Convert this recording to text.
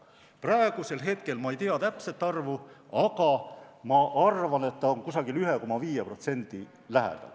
Praegusel hetkel ma ei tea täpset arvu, aga ma arvan, et see on 1,5% lähedal.